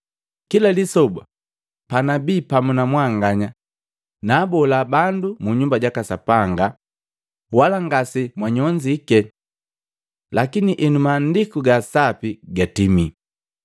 Kila lisoba panabii pamu na mwanganya nabola bandu mu Nyumba jaka Sapanga, wala ngase mwanyonzike. Lakini enu Maandiku ga Sapi gatimi.”